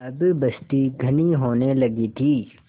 अब बस्ती घनी होने लगी थी